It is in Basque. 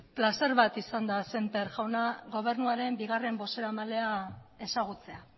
plazer bat izan da semper jauna gobernuaren bigarren bozeramalea ezagutzea